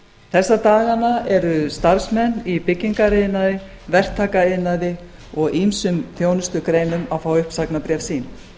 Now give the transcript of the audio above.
þessa dagana eru starfsmenn í byggingariðnaði verktakaiðnaði og ýmsum þjónustugreinum að fá uppsagnarbréf sín